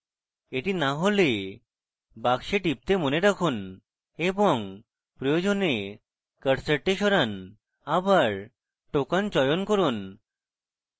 এটি না হলে box টিপতে মনে রাখুন এবং প্রয়োজনে কার্সারটি সরান আবার token চয়ন করুন